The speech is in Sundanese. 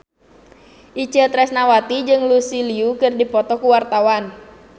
Itje Tresnawati jeung Lucy Liu keur dipoto ku wartawan